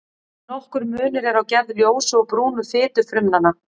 Nokkur munur er á gerð ljósu og brúnu fitufrumnanna.